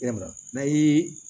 Yalima n'a ye